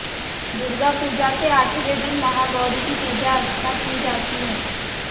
दुर्गापूजा के आठवें दिन महागौरी की पूजा अर्चना की जाती है